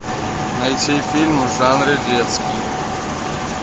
найти фильм в жанре детский